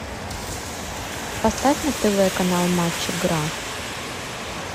поставь на тв канал матч игра